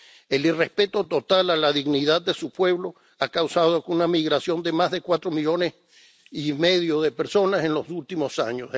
El irrespeto total a la dignidad de su pueblo ha causado una migración de más de 4,5 millones de personas en los últimos años.